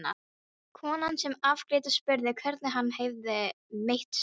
Konan sem afgreiddi spurði hvernig hann hefði meitt sig.